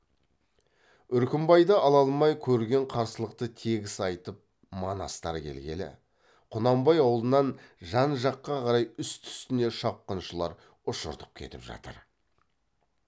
үркімбайды ала алмай көрген қарсылықты тегіс айтып манастар келгелі құнанбай аулынан жан жаққа қарай үсті үстіне шапқыншылар ұшыртып кетіп жатыр